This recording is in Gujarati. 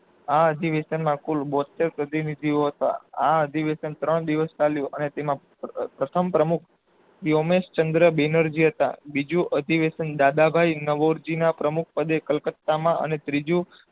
આ અધિવેશના કુલ બોતેર પ્રતિનિધિઓ હતા આ અધિવેશન ત્રણ દિવસ ચાલ્યું અને તેમાં પ્રથમ પ્રમુખ યોમ્સ ચન્દ્ર બેનરજી હતા બીજું અભિવેસન દાદાભાઈ નાવોંરજી ના પ્રમુખ પદે કલકતામાં અને ત્રીજું